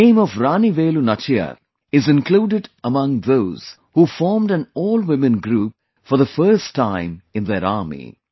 The name of Rani Velu Nachiyar is included among those who formed an AllWomen Group for the first time in their army